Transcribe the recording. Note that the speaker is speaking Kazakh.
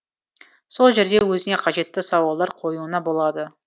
сол жерде өзіне қажетті сауалдар қоюына болады